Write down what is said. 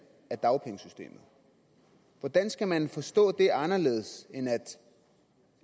af dagpengesystemet hvordan skal man så forstå det anderledes end